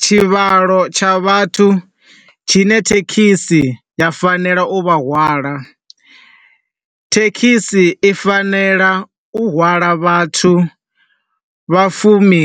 Tshivhalo tsha vhathu tshi ne thekhisi ya fanela u vha hwala, thekhisi i fanela u hwala vhathu vha fumi